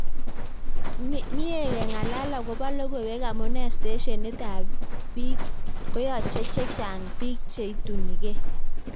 Me he kengalal akoba lokoiwek amune steshenit ab ig koyache chechang biik che itunige?